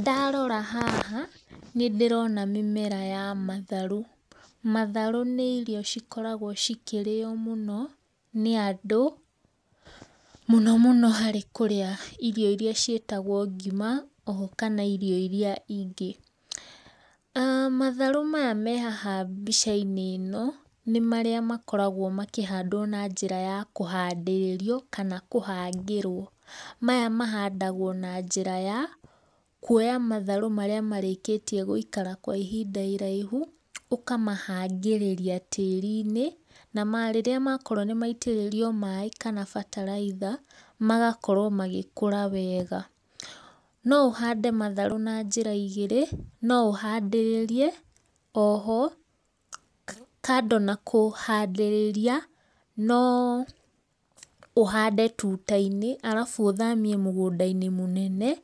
Ndarora haha nĩndĩrona mĩmera ya matharũ. Matharũ nĩ irio cikoragwo cikĩrĩo mũno nĩ andũ, mũno mũno kũrĩa irio irĩa ciĩtagwo ngima oho kana irio iria ingĩ. Matharũ maya me haha mbica-inĩ ĩno nĩ marĩa makoragwo makĩhandwo na njĩra ya kũhandĩrĩrio kana kũhangĩrwo. Maya mahandagwo na njĩra ya kuoya matharũ marĩa marĩkĩtie gũikara kwa ihinda iraihu ũkamahangĩrĩria tĩrinĩ na rĩrĩa makorwo nĩ maitĩrĩrio maĩ kana bataraitha magakorwo magĩkũra wega. No ũhande matharũ na njĩra igĩrĩ, no ũhandĩrĩrie, o ho kando na kũhandĩrĩria, no ũhande tuta-inĩ arabu ũthamie mũgũnda-inĩ mũnene